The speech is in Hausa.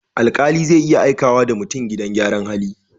Alƙali zai iya aikawa da mutum gidan gyaran hali.